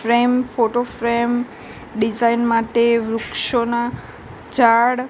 frame photo frame design માટે વૃક્ષોના જાળ--